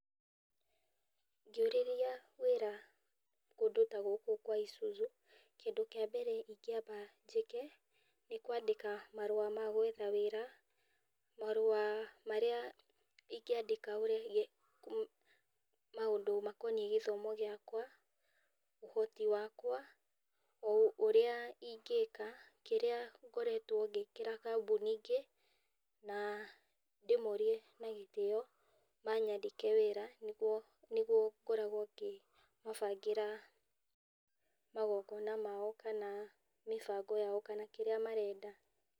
Ngĩũrĩrĩria wĩra kũndũ ta gũkũ kwa ISUZU kĩndũ kĩa mbere ingĩamba njĩke nĩ kwandĩka marũa ma gwetha wĩra, marũa marĩa ingĩanda megie, makonie mathomo makwa, ũhoti wakwa, ũrĩa ingĩka, kĩrĩa ngoretwo ngĩkĩra kambuni ingĩ na ndĩmorie na gĩtĩo manyandĩke wĩra nĩguo ngoragwo ngĩmabangĩra magongona mao kana mĩbango yao kana kĩrĩa marenda.